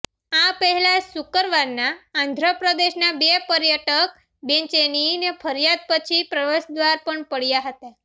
આ પહેલા શુક્રવારના આંધ્રપ્રદેશના બે પર્યટક બેચેનીની ફરિયાદ પછી પ્રવેશદ્વાર પર પડયા હતા